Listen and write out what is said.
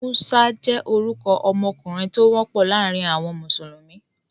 Musa jẹ́ orúkọ ọmọkùnrin tó wọ́pọ̀ láàrin àwọn mùsùlùmí.